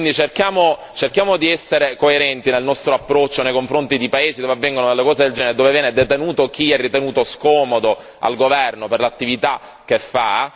Quindi cerchiamo di essere coerenti nel nostro approccio nei confronti di paesi dove avvengono delle cose del genere, dove viene detenuto chi è ritenuto scomodo al governo per l'attività che fa.